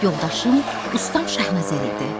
Yoldaşım ustam Şahnəzər idi.